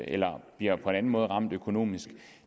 eller bliver på anden måde ramt økonomisk